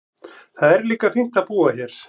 Það er líka fínt að búa hér.